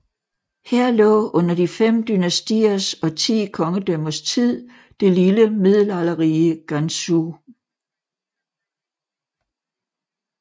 Her lå under de fem dynastiers og ti kongedømmers tid det lille middelalderrige Ganzhou